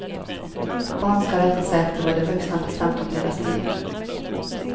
Barn ska rätta sig efter vad de vuxna bestämt om deras liv.